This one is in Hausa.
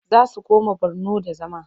Za su koma Borno da zama.